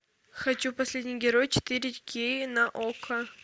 хочу последний герой четыре кей на окко